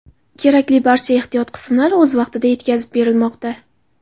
Kerakli barcha ehtiyot qismlari o‘z vaqtida yetkazib berilmoqda.